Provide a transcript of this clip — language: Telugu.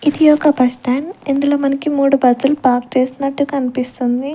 ఇది ఒక బస్టాండ్ ఇందులో మనకి మూడు బస్సులు పార్క్ చేసినట్టు కనిపిస్తుంది.